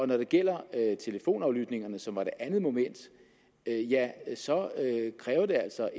når det gælder telefonaflytningerne som var det andet moment ja så kræver det altså